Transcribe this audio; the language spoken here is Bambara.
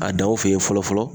A daw fe yen fɔlɔ fɔlɔ